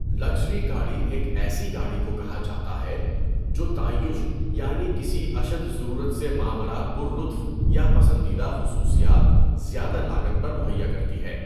Luxury گاڑی ایک ایسی گاڑی کو کہا جاتا ہے جو تعیّش یعنی کسی اشد ضرورت سے ماوراء پُرلُطف یا پسندیدہ خصوصیات زیادہ لاگت پر مہیّا کرتی ہے.